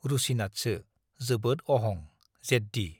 रुसिनाथसो - जोबोद अहं, जेद्दि।